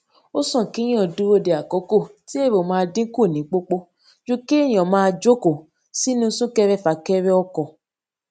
ó sàn kéèyàn dúró de àkókò tí èrò máa diín kù ní pòpò ju kéèyàn máa jókòó sínú sunkerefakere ọkò